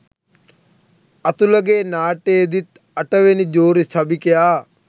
අතුලගේ නාට්‍යයේදිත් අටවෙනි ජූරි සභිකයා